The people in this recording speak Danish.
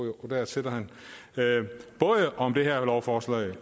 jo der sidder han både om det her lovforslag